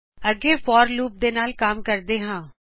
ਅੱਗੇ forਲੂਪ ਦੇ ਨਾਲ ਕੰਮ ਕਰਦੇ ਹਾਂ